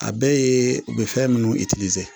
A bɛɛ ye u bɛ fɛn minnu